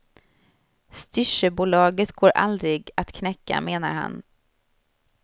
Styrsöbolaget går aldrig att knäcka, menar han.